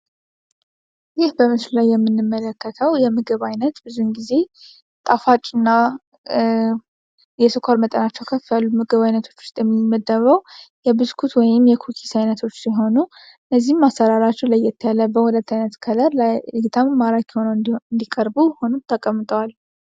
ይህ በምስሉ ላይ የምንመለከከው የምግብ ዓይነት ብዙን ጊዜ ጣፋጭ እና የስኮር መጠናቸው ከፍ ያሉ ምግብ ዓይነቶች ውስጥ የሚመደበው የብስኩት ወይም የኩኪስ ዓይነቶች ሲሆኑ እነዚህም አሰራራቸው ላይ ያለ በሁለት ዓይነት ከለር ለአይን እይታ ማራኪ ሆነው እንዲቀርቡ ሆኑው ተቀምጠዋል።